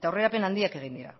eta aurrerapen handiak egin dira